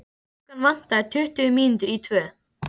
Klukkuna vantaði tuttugu mínútur í tvö.